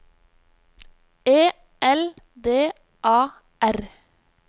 E L D A R